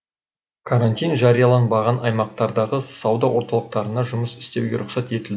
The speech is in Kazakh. карантин жарияланбаған аймақтардағы сауда орталықтарына жұмыс істеуге рұқсат етілді